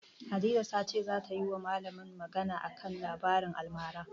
Hadiza ta ce zata yiwa malamin magana a kan labaran almara.